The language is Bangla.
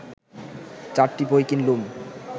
চারটি বই কিনলুম